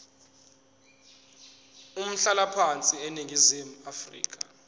umhlalaphansi eningizimu afrika